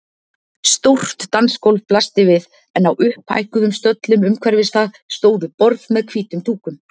Stórt dansgólf blasti við en á upphækkuðum stöllum umhverfis það stóðu borð með hvítum dúkum.